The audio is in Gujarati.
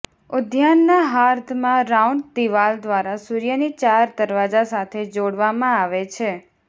ઉદ્યાનના હાર્દમાં રાઉન્ડ દિવાલ દ્વારા સૂર્યની ચાર દરવાજા સાથે જોડવામાં આવે છે